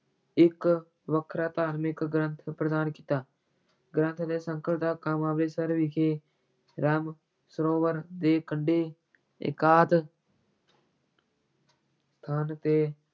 ਇੱਕ ਵੱਖਰਾ ਧਾਰਮਿਕ ਗ੍ਰੰਥ ਪ੍ਰਦਾਨ ਕੀਤਾ, ਗ੍ਰੰਥ ਦੇ ਸੰਕਲਨ ਦਾ ਕੰਮ ਅੰਮ੍ਰਿਤਸਰ ਵਿਖੇ ਰਾਮ ਸਰੋਵਰ ਦੇ ਕੰਢੇ ਏਕਾਂਤ ਸਥਾਨ ਤੇ